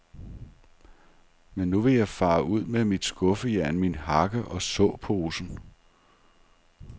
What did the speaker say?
Men nu vil jeg fare ud med mit skuffejern, min hakke og såposen.